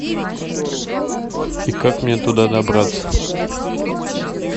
и как мне туда добраться